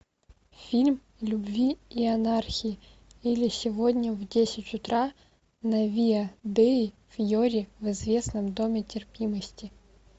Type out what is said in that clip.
фильм любви и анархии или сегодня в десять утра на виа деи фьори в известном доме терпимости